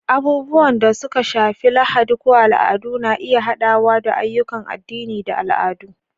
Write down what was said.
Abubuwan da suka shafi Lahadi ko al'adu na iya haɗawa da ayyukan addini da al'adu.